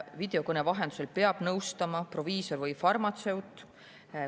Videokõne vahendusel peab nõustama proviisor või farmatseut.